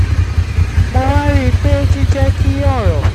mo wá rí i pé jíjẹ́ kí ọ̀rọ̀